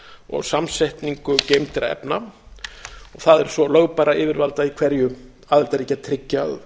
og samsetningu geymdra efna og það er svo lögbærra yfirvalda í hverju aðildarríki að tryggja að